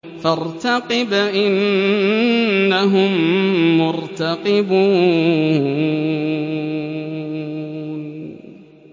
فَارْتَقِبْ إِنَّهُم مُّرْتَقِبُونَ